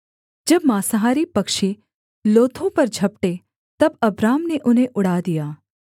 जब माँसाहारी पक्षी लोथों पर झपटे तब अब्राम ने उन्हें उड़ा दिया